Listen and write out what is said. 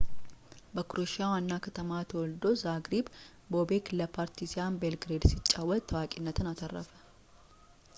በክሮኤሺያ ዋና ከተማ ተወልዶ ዛግሪብ ቦቤክ ለፓርቲዛን ቤልግሬድ ሲጫወት ታዋቂነትን አተረፈ